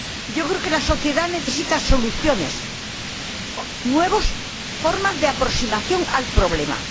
Yo creo que la sociedad necesita soluciones, nuevas formas de aproximación al problema.